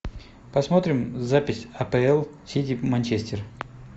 посмотрим запись апл сити манчестер